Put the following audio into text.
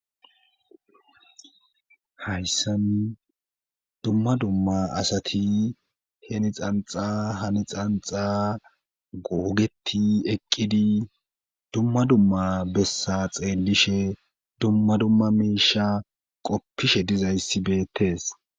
hayssan dumma dumma asati heni xanxa hani xanxa googeti eqqidi dumma dumma bessa xeelishe dumma dumma misha qoppishe dizayssi beettes